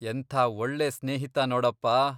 ಎಂಥಾ ಒಳ್ಳೆ ಸ್ನೇಹಿತ ನೋಡಪ್ಪ!